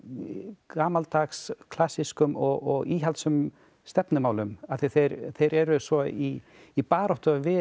gamaldags klassískum og íhaldssömum stefnumálum af því þeir þeir eru svo í í baráttu við